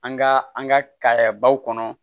An ka an ka kayɛ baw kɔnɔ